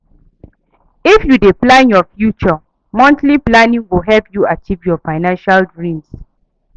If you dey plan your future, monthly planning go help you achieve your financial dreams.